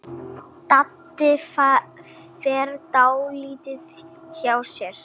Doddi fer dálítið hjá sér.